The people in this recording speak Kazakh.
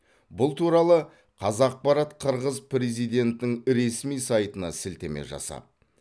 бұл туралы қазақпарат қырғыз президентінің ресми сайтына сілтеме жасап